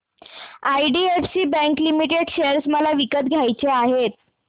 IDFC bank limited share मला विकत घ्यायचे आहेत